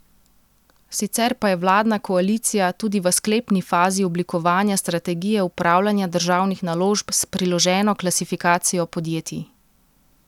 Sicer pa je vladna koalicija tudi v sklepni fazi oblikovanja strategije upravljanja državnih naložb s priloženo klasifikacijo podjetij.